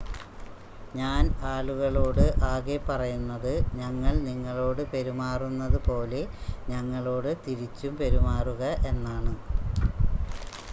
ഞാൻ ആളുകളോട് ആകെ പറയുന്നത് ഞങ്ങൾ നിങ്ങളോട് പെരുമാറുന്നത് പോലെ ഞങ്ങളോട് തിരിച്ചും പെരുമാറുക എന്നാണ്